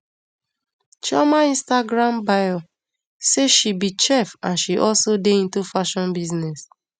chioma instagram bio say she be chef and she also dey into fashion business